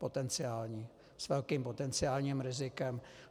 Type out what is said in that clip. Potenciální, s velkým potenciálním rizikem.